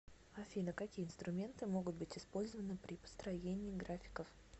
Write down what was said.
афина какие инструменты могут быть использованы при построении графиков